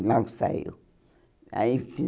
Logo saiu Aí